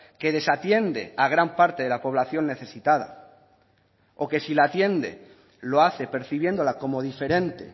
que desatiende a gran parte de la población necesitada o que si la atiende lo hace percibiéndola como diferente